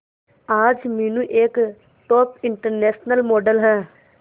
आज मीनू एक top international model है